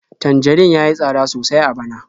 Tanjarin ya yi tsada sosai a bana.